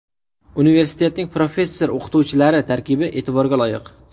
Universitetning professor-o‘qituvchilari tarkibi e’tiborga loyiq.